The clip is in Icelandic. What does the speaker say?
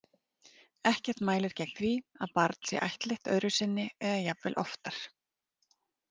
Ekkert mælir gegn því að barn sé ættleitt öðru sinni eða jafnvel oftar.